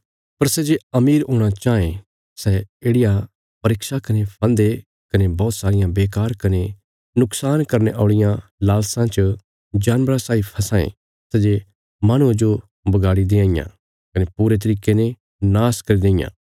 पर सै जे अमीर हूणा चांह ये सै येढ़िया परीक्षा कने फन्दे कने बौहत सारियां बेकार कने नुक्शान करने औल़ियां लालसां च जानबरा साई फसां ये सै जे माहणुआं जो बगाड़ी देआं इयां कने पूरे तरिके ने नाश करी देईयां